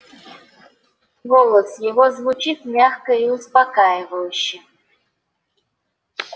голос его звучит мягко и успокаивающе